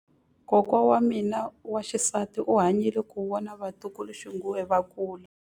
Kokwa wa mina wa xisati u hanyile ku vona vatukuluxinghuwe va kula.